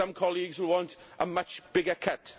some colleagues will want a much bigger cut.